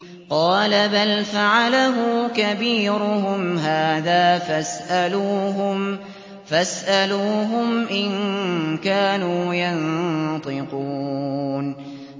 قَالَ بَلْ فَعَلَهُ كَبِيرُهُمْ هَٰذَا فَاسْأَلُوهُمْ إِن كَانُوا يَنطِقُونَ